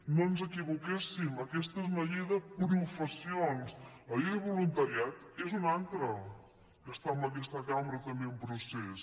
no ens equivoquéssim aquesta és una llei de professions la llei de voluntariat és una altra que està en aquesta cambra també en procés